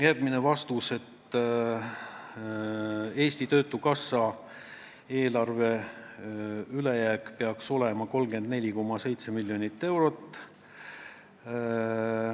Järgmine vastus oli, et Eesti Töötukassa eelarve ülejääk peaks olema 34,7 miljonit eurot.